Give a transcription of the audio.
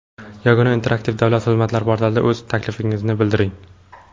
Yagona interaktiv davlat xizmatlari portalida o‘z taklifingizni bildiring.